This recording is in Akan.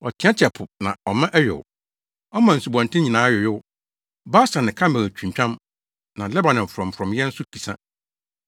Ɔteɛteɛ po na ɔma ɛyow; ɔma nsubɔnten nyinaa yoyow. Basan ne Karmel twintwam, na Lebanon frɔmfrɔmyɛ nso kisa.